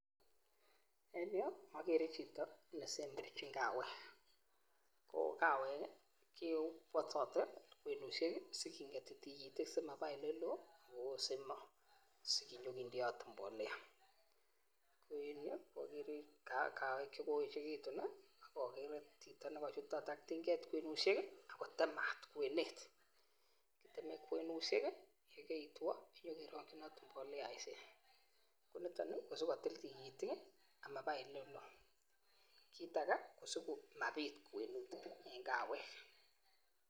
En yuu okere chito nesemberchin kawek ko kawek kii kewosote kwenushek kii sikingeti tukitik simaba oleloo sinyokindeot mbolea. Ko en yuu okere kawek chekoyechekutun nii akochutot ak to get kwenushek kii ak kotemat kwenet teme kwenushek kii yekeitwo nyokeronginot mboleaishek. oliton nii ko sikotile tukitik kii amaba olelee, kit age ko sikomapit kwenet en kawek.